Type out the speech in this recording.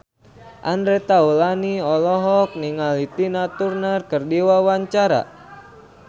Andre Taulany olohok ningali Tina Turner keur diwawancara